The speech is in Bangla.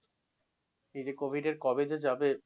এই যে covid এর কবে যে যাবে?